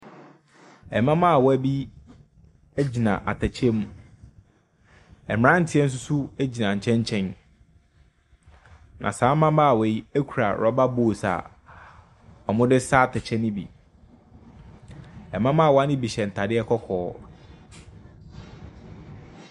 Mmabaawa bi gyina atɛkyɛ mu. Mmeranteɛ nso gyina nkyɛnkyɛn. Na saa mmabaawa yi kura rɔba bowls a wɔde resa atɛkyɛ no bi. Mmabaawa no bi hyɛ ntadeɛ kɔkɔɔ.